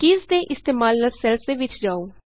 keys ਦੇ ਇਸਤੇਮਾਲ ਨਾਲ ਸੈੱਲਸ ਦੇ ਵਿਚ ਜਾਉ